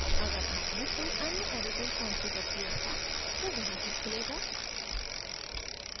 अगर आपने कोई अन्य editor कॉन्फ़िगर किया था तो वह ही खुलेगा